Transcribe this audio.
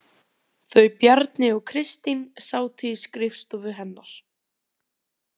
Þau Bjarni og Kristín sátu í skrifstofu hennar.